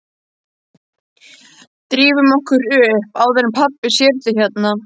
Drífum okkur upp áður en pabbi sér þig hérna